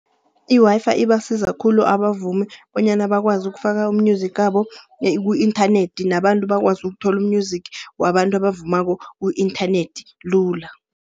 I-Wi-Fi ibasiza khulu abavumi bonyana bakwazi ukufaka u-music wabo ku-inthanethi. Nabantu bakwazi ukuthola u-music wabantu abavumako ku-inthanethi lula.